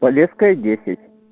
полесская десять